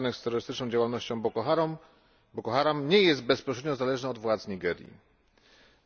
związanych z terrorystyczną działalnością Boko Haram, nie jest bezpośrednio zależna od władz Nigerii,